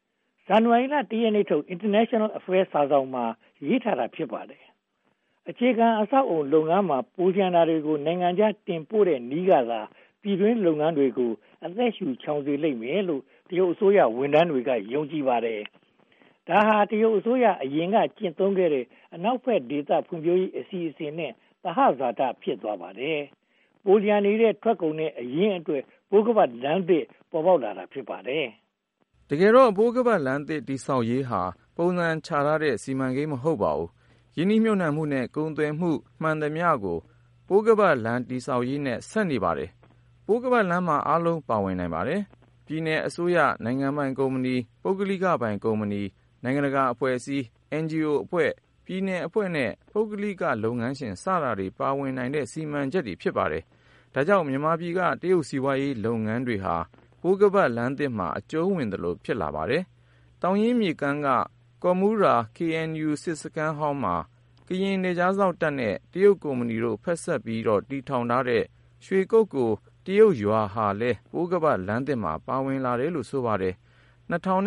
။ ဇန်နဝါရီလ (၁) ရက်နေ့ထုတ် International Affairs စာစောင်မှာ ရေးသားထားတာ ဖြစ်ပါတယ်။ အခြေခံအဆောက်အအုံလုပ်ငန်းမှာ ပိုလျှံနေတာတွေကို နိုင်ငံခြားတင်ပို့တဲ့နည်းကသာ ပြည်တွင်းလုပ်ငန်းတွေကို အသက်ရှုချောင်စေလိမ့်မယ်လို့ တရုတ်အစိုးရဝန်ထမ်းတွေ ယုံကြည်ကြပါတယ်။ ဒါဟာ တရုတ်အစိုးရ အရင်ကကျင့်သုံးခဲ့တဲ့ အနောက်ဘက်ဒေသ ဖွံ့ဖြိုးရေးအစီအစဉ်နဲ့ သဟဇာတ ဖြစ်သွားပါတယ်။ ပိုလျှံနေတဲ့ ထုတ်ကုန်နဲ့ အရင်းအတွက် ပိုးခါးပတ်လမ်းသစ် ပေါ်ပေါက်လာတာ ဖြစ်ပါတယ်။ တကယ်တော့ ပိုးခါးပတ်လမ်းသစ်တည်ဆောက်ရေးဟာ ပုံစံချထားတဲ့ စီမံကိန်း မဟုတ်ပါဘူး။ ရင်းနှီးမြုပ်နံှမှုနဲ့ ကုန်သွယ်မှုမှန်သမျှ ပိုးခါးပတ်လမ်း တည်ဆောက်ရေးနဲ့ ဆက်နေပါတယ်။ ပိုးခါးပတ်လမ်းမှာ အားလုံးပါဝင်နိုင်ပါတယ်။ ပြည်နယ်အစိုးရ၊ နိုင်ငံပိုင်ကုမ္ပဏီ၊ ပုဂ္ဂလိကပိုင်ကုမ္ပဏီတွေ၊ နိုင်ငံတကာအဖွဲ့အစည်းတွေ၊ အင်ဂျီအိုအဖွဲ့တွေ၊ ပြည်နယ်အဖွဲ့တွေနဲ့ ပုဂ္ဂလိကလုပ်ငန်းရှင်တွေ ပါဝင်နိုင်တဲ့ စီမံချက် ဖြစ်ပါတယ်။ ဒါကြောင့် မြန်မာပြည်က တရုတ်စီးပွားရေးလုပ်ငန်းတွေဟာ ပိုးခါးပတ်လမ်းသစ်မှာ အကျုံးဝင်သလို ဖြစ်လာပါတယ်။ သောင်းရင်းမြစ်ကမ်းက ကော်မူရာ KNU စစ်စခန်းဟောင်းမှာ ကရင်နယ်ခြားစောင့်တပ်နဲ့ တရုတ်ကုမ္ပဏီတို့ ဖက်စပ်လုပ်ပြီး တည်ဆောက်တဲ့ ရွှေကုက္ကိုတရုတ်ရွာဟာလည်း ပိုးခါးပတ်လမ်းသစ်မှာ ပါဝင်တယ်လို့ ဆိုပါတယ်။ ၂၀၂၇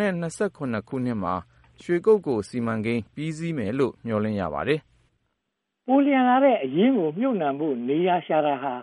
မှာ ရွှေကုက္ကို ပြီးစီးမယ်လို့ မျှော်လင့်ရပါတယ်။ ပိုလျှံလာတဲ့ အရင်းအနှီးကိုမြုပ်နံှဖို့ နေရာရှာတာဟာ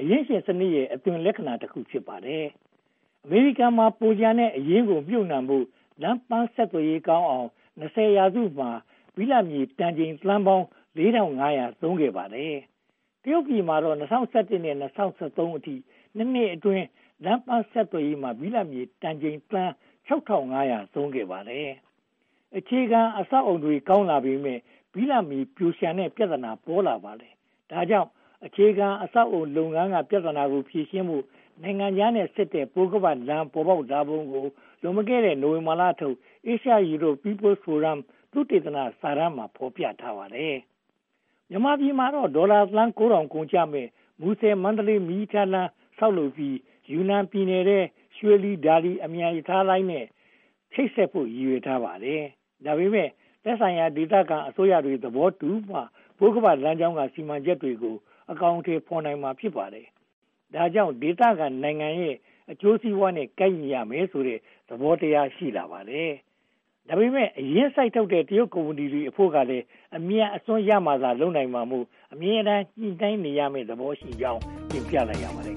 အရင်းရှင်စနစ်ရဲ့ အသွင်လက္ခဏာတခု ဖြစ်ပါတယ်။ အမေရိကန်မှာ ပိုလျှံတဲ့ အရင်းအနှီးကို မြုပ်နံှဖို့ လမ်းပန်းဆက်သွယ်ရေးကောင်းအောင် (၂၀) ရာစုမှာ ဘိလပ်မြေတန်ချိန် သန်းပေါင်း (၄၅၀၀) သုံးခဲ့ပါတယ်။ တရုတ်ပြည်မှာတော့ (၂၀၁၁) က (၂၀၁၃) အထိ (၂) နှစ်အတွင်း လမ်းပန်းဆက်သွယ်ရေးမှာ ဘိလပ်မြေတန်ချိန် သန်း (၆၅၀၀) သုံးခဲ့ပါတယ်။ အခြေခံအဆောက်အအုံတွေ ကောင်းလာပေမယ့် ဘိလပ်မြေပိုလျှံနေတဲ့ ပြဿနာ ပေါ်လာပါတယ်။ ဒါကြောင့် အခြေခံအဆောက်အအုံလုပ်ငန်းက ပြဿနာကို ဖြေရှင်းဖို့ နိုင်ငံခြားနဲ့ဆက်တဲ့ ပိုးခါးပတ်လမ်း ပေါ်လာပုံကို နိုဝင်ဘာလထုတ် Asia Europe People’s Forum သုတေသနစာတမ်းမှာ ဖော်ပြထားပါတယ်။ မြန်မာပြည်မှာတော့ ဒေါ်လာသန်း (၉၀၀၀) ကုန်ကျမယ့် မူဆယ်-မန္တလေး မီးရထားလမ်း ဆောက်လုပ်ပြီး ယူနန်ပြည်နယ်ထဲက ရွှေလီ-ဒါလီ အမြန်ရထားလမ်းနဲ့ ချိတ်ဆက်ဖို့ ရည်ရွယ်ထားပါတယ်။ ဒါပေမဲ့ သက်ဆိုင်ရာ ဒေသခံအစိုးရတွေ သဘောတူမှ ပိုးခါးပတ်လမ်းကြောင်းက စီမံချက်တွေကို အကောင်အထည်ဖော်နိုင်မှာ ဖြစ်ပါတယ်။ ဒါကြောင့် ဒေသခံနိုင်ငံတွေရဲ့ အကျိုးစီးပွားရေးနဲ့ ကိုက်ညီရမယ်ဆိုတဲ့ သဘောတရား ရှိပါတယ်။ ဒါပေမဲ့ အရင်းစိုက်ထုတ်တဲ့ တရုတ်ကုမ္ပဏီတွေအဖို့ကလည်း အမြတ်အစွန်း ရမှသာ လုပ်နိုင်မှာဖြစ်လို့ အမြဲတမ်း ညှိနှိုင်းနေရမယ့် သဘောရှိကြောင်း တင်ပြလိုက်ရပါတယ်